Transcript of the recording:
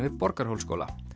við Borgarhólsskóla